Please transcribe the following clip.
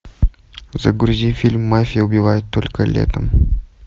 загрузи фильм мафия убивает только летом